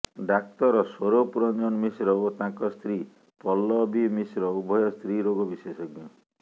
ଡାକ୍ତର ସ୍ୱରୂପ ରଂଜନ ମିଶ୍ର ଓ ତାଙ୍କ ସ୍ତ୍ରୀ ପଲ୍ଲବୀ ମିଶ୍ର ଉଭୟ ସ୍ତ୍ରୀ ରୋଗ ବିଶେଷଜ୍ଞ